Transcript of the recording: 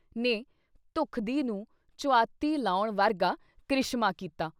ਨੇ ਧੁਖਦੀ ਨੂੰ ਚੁਆਤੀ ਲਾਉਣ ਵਰਗਾ ਕ੍ਰਿਸ਼ਮਾ ਕੀਤਾ।